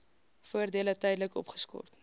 voordele tydelik opgeskort